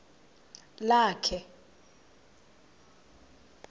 lakhe